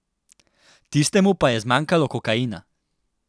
Tistemu pa je zmanjkalo kokaina!